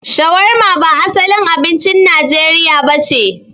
Shawarma ba asalin abincin Najeriya nace.